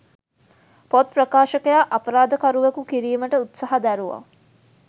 පොත් ප්‍රකාශකයා අපරාධකරුවකු කිරීමට උත්සහ දැරුවා.